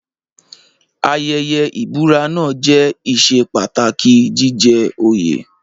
Ayẹyẹ ìbúra náà jẹ́ ìṣe pàtàkì jíjẹ òye.